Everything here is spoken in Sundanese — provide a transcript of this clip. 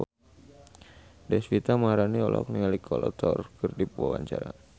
Deswita Maharani olohok ningali Kolo Taure keur diwawancara